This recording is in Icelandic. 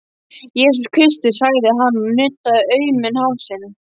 Jesús Kristur, sagði hann og nuddaði auman hálsinn.